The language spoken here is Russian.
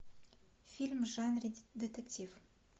фильм в жанре детектив